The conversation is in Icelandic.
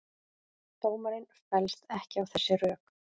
Dómarinn fellst ekki á þessi rök